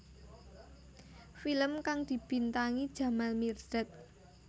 Film kang dibintangi Jamal Mirdad